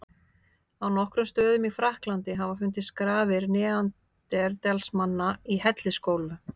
Á nokkrum stöðum í Frakklandi hafa fundist grafir neanderdalsmanna í hellisgólfum.